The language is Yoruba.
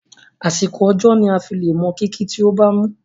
Àsìkò ọjọ́ ni aa fí le mọ kìkì tí o bamu.